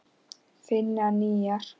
Finna nýjar.